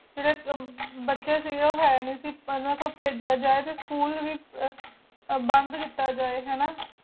ਜੇਰੀ ਬਚੀ ਸੇ ਗੀ ਓ ਹੀ ਨੀ ਸੇ ਗੀ ਹਾਨਾ ਬਚੇਯਾਂ ਨੂ ਪਾਜੇਯਾ ਜੇ ਟੀ school ਯਾ ਬੰਦ ਕੇਤਾ ਜੇ ਹਾਨਾ